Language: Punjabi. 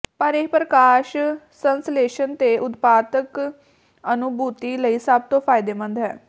ਪਰ ਇਹ ਪ੍ਰਕਾਸ਼ ਸੰਸ਼ਲੇਸ਼ਣ ਦੇ ਉਤਪਾਦਕ ਅਨੁਭੂਤੀ ਲਈ ਸਭ ਤੋਂ ਫਾਇਦੇਮੰਦ ਹੈ